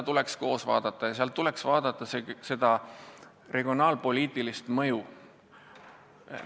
Seda tuleks koos vaadata ja seejuures arvestada regionaalpoliitilist mõju.